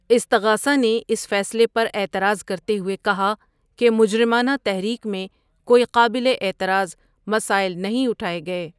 استغاثہ نے اس فیصلے پر اعتراض کرتے ہوئے کہا کہ مجرمانہ تحریک میں کوئی قابل اعتراض مسائل نہیں اٹھائے گئے۔